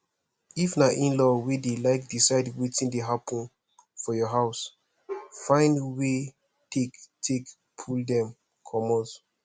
if na inlaw wey de like decide wetin dey happen for your house find wey take take pull dem comot